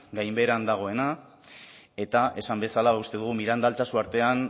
gainbeheran dagoena eta esan bezala uste dugu miranda altsasu artean